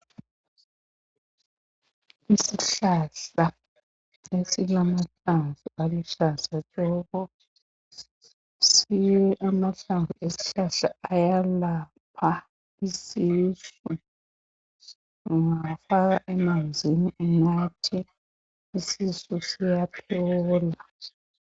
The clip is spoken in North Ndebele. Isihlahla esilamahlamvu aluhlaza tshoko. Siwe amahlamvu esihlahla ayalapha isisu, ungawafaka emanzini unathe isisu siyaphola.